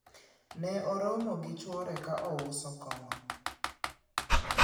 ne oromo gi chwore ka ouso kongo